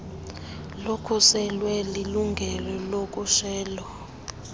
nolukhuselwe lilungelo lokhutshelo